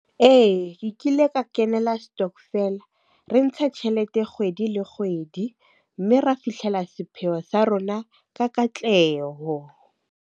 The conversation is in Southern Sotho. Ee, ke kile ka kenela stockvel. Re ntsha tjhelete kgwedi le kgwedi mme ra fihlela sepheo sa rona ka katleho.